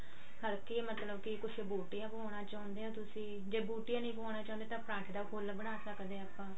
ਹਲਕੀ ਮਤਲਬ ਕਿ ਕੁਛ ਬੂਟੀਆਂ ਪਵਾਉਣ ਚਾਹੁੰਦੇ ਆਂ ਤੁਸੀਂ ਜੇ ਬੂਟੀਆਂ ਨਹੀਂ ਪਵਾਉਣ ਚਾਹੁੰਦੇ ਤਾਂ ਪਰਾਂਠੇ ਦਾ ਫੁੱਲ ਬਣਾ ਸਕਦੇ ਆਂ ਆਪਾਂ